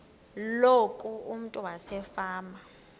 loku umntu wasefama